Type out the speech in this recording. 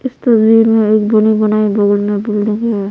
इस तस्वीर में एक बनी बनाई बगल में बिल्डिंग है।